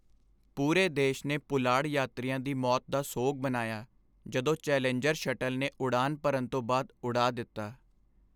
ਪੂਰੇ ਦੇਸ਼ ਨੇ ਪੁਲਾੜ ਯਾਤਰੀਆਂ ਦੀ ਮੌਤ 'ਤੇ ਸੋਗ ਮਨਾਇਆ ਜਦੋਂ ਚੈਲੇਂਜਰ ਸ਼ਟਲ ਨੇ ਉਡਾਣ ਭਰਨ ਤੋਂ ਬਾਅਦ ਉਡਾ ਦਿੱਤਾ।